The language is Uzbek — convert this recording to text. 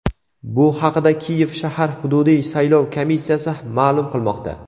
Bu haqida Kiyev shahar hududiy saylov komissiyasi ma’lum qilmoqda.